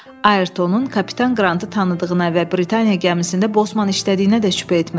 Ayrtonun kapitan Qrantı tanıdığına və Britaniya gəmisində Bosman işlədiyinə də şübhə etmirəm.